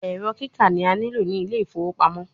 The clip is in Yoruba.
Ẹrọ kika ni a nilo ni Ile ifowo pamo